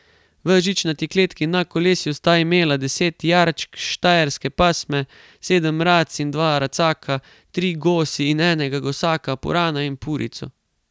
V žičnati kletki na koleslju sta imela deset jarčk štajerske pasme, sedem rac in dva racaka, tri gosi in enega gosaka, purana in purico.